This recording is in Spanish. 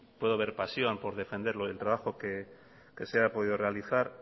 puedo ver pasión por defender lo del trabajo que se ha podido realizar